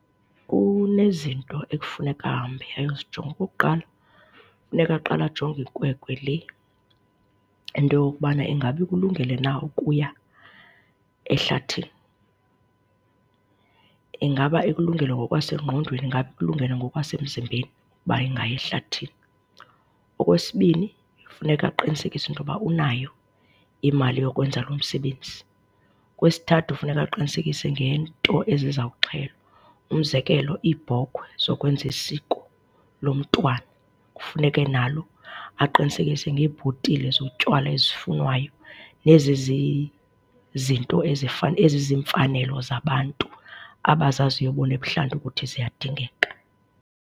Kunezinto ekufuneka ahambe ayozijonga. Okokuqala, funeka uqala ajonge ikwekwe le into yokubana ingabe ikulungele na ukuya ehlathini. Ingabe ikulungele ngokwasengqondweni, ingabe ikulungele ngokwasemzimbeni uba ingaya ehlathini? Okwesibini, funeka aqinisekise into yoba unayo imali yokwenza lo msebenzi. Okwesithathu, funeka aqinisekise ngeento ezizawuxhelwa, umzekelo iibhokhwe zokwenza isiko lomntwana. Kufuneke nalo aqinisekise ngeebhotile zotywala ezifunwayo nezi zizinto eziziimfanelo zabantu abazaziyo bona ebuhlanti ukuthi ziyadingeka.